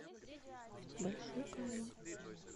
большой камень